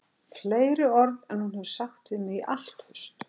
Fleiri orð en hún hefur sagt við mig í allt haust